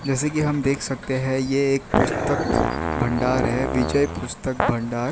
जैसे कि हम देख सकते है ये एक पुस्तक भंडार है विजय पुस्तक भंडार।